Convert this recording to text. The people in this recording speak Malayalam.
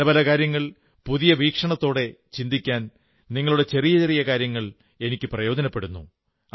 പല പല കാര്യങ്ങൾ പുതിയ വീക്ഷണത്തോടെ ചിന്തിക്കാൻ നിങ്ങളുടെ ചെറിയ ചെറിയ കാര്യങ്ങൾ എനിക്ക് പ്രയോജനപ്പെടുന്നു